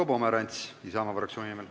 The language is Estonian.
Marko Pomerants Isamaa fraktsiooni nimel.